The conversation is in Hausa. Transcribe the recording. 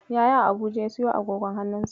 Yaya a Abuja ya siyo agogon hannunsa.